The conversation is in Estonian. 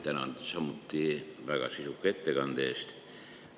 Tänan samuti väga sisuka ettekande eest.